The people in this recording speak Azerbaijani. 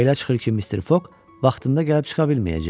Belə çıxır ki, Mr. Fog vaxtında gəlib çıxa bilməyəcək.